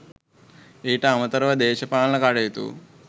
ඊට අමතරව දේශපාලන කටයුතු